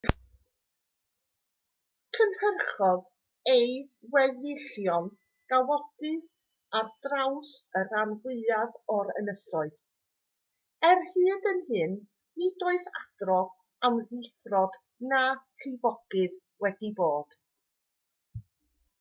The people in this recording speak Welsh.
cynhyrchodd ei weddillion gawodydd ar draws y rhan fwyaf o'r ynysoedd er hyd yn hyn nid oes adrodd am ddifrod na llifogydd wedi bod